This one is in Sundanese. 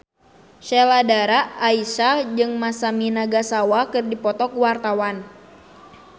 Sheila Dara Aisha jeung Masami Nagasawa keur dipoto ku wartawan